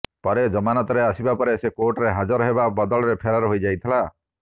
ପରେ ଜମାନତରେ ଆସିବା ପରେ ସେ କୋର୍ଟରେ ହାଜିର ହେବା ବଦଳରେ ଫେରାର ହୋଇଯାଇଥିଲା